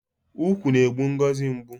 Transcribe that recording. Ukwu na-egbu Ngozi mgbu